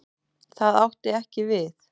Það átti ekki við.